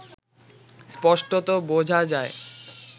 স্পষ্টত বোঝা যায়